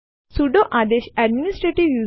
ચાલો હવે આપણે ઉદાહરણ જોઈએ